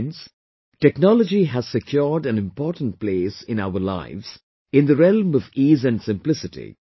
Friends, technology has secured an important place in our lives in the realm of ease and simplicity